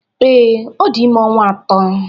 Ee, ọ dị ime ọnwa atọ.